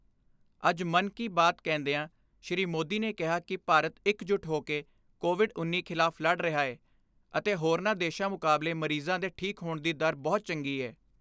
ਅੱਜ ਮਨ ਕੀ ਬਾਤ ਕਹਿੰਦਿਆਂ ਸ਼੍ਰੀ ਮੋਦੀ ਨੇ ਕਿਹਾ ਕਿ ਭਾਰਤ ਇੱਕ ਜੁਟ ਹੋਕੇ ਕੋਵਿਡ ਉੱਨੀ ਖਿਲਾਫ ਲੜ ਰਿਹਾ ਏ ਅਤੇ ਹੋਰਨਾਂ ਦੇਸ਼ਾਂ ਮੁਕਾਬਲੇ ਮਰੀਜ਼ਾਂ ਦੇ ਠੀਕ ਹੋਣ ਦੀ ਦਰ ਬਹੁਤ ਚੰਗੀ ਏ।